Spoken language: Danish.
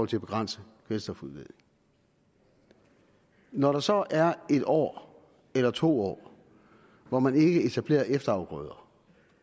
til at begrænse kvælstofudledning når der så er et år eller to år hvor man ikke etablerer efterafgrøder